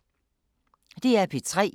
DR P3